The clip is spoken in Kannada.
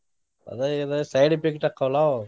ಅದ ಇದ side effect ಆಕ್ಕವಲ್ಲಾ ಅವು.